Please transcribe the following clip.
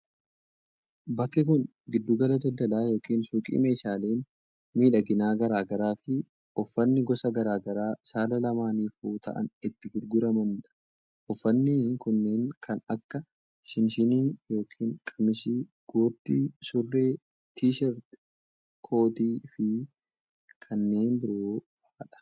Bakki kun giddu gala daldalaa yokin suuqii meeshaaleen miidhaginaa garaa garaa fi uffanni gosa garaa garaa saala lamaanifuu ta'an itti gurguramanii dha. Uffanni kunneen kan akka:shinshinii yokin qamisii gurdii, surree, T-shirt, kootii fi kanneen biroo faa dha